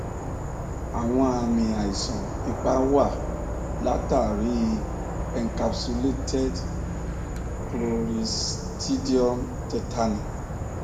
àwọn àmì àìsàn ipá wá látàrí i encapsulated cloristridium tetani